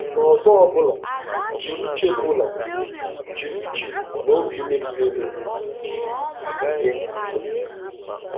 N'ụzọ ọ bụla, jiri uche bụla, jiri uche na obi mepere emepe gee nwunye gị ntị.